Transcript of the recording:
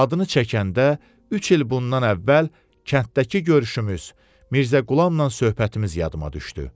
Adını çəkəndə üç il bundan əvvəl kənddəki görüşümüz, Mirzə Qulamla söhbətimiz yadıma düşdü.